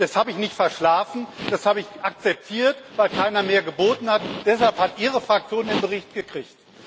Das habe ich nicht verschlafen, das habe ich akzeptiert, weil keiner mehr geboten hat. Deshalb hat Ihre Fraktion den Bericht gekriegt.